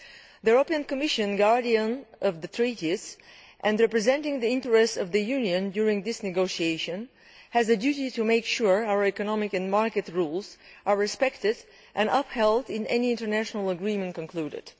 The Commission, as guardian of the Treaties, and representing the interests of the Union in this negotiation, has a duty to make sure our economic and market rules are respected and upheld in any international agreement that is concluded.